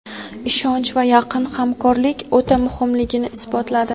ishonch va yaqin hamkorlik o‘ta muhimligini isbotladi.